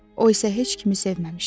O isə heç kimi sevməmişdi.